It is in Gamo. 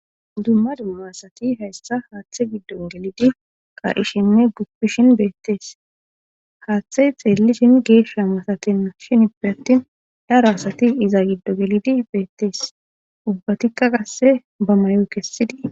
dumma dumma asati hayssa haaththe giddo gelidi qar7ishime guppishin beettees haaththe xeelli dim geeshsha masatenna shinippe attin daro asati iza giddo gelidi beettees ubbatikka qasse bamayoo kessidie